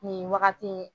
Nin wagati